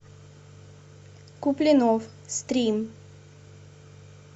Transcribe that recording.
куплинов стрим